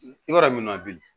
I b'a dɔn min ma bilen